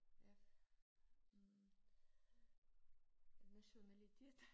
Af hm nationalitet